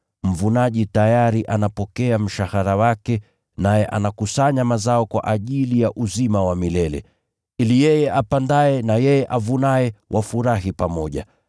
Mvunaji tayari anapokea mshahara wake, naye anakusanya mazao kwa ajili ya uzima wa milele. Ili yeye apandaye na yeye avunaye wafurahi pamoja.